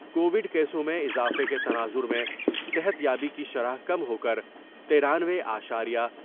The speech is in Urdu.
کووڈ کیسوں میں اضافے کے تناظر میں صحت یابی کی شرح کم ہوکر ترانوے اشاریہ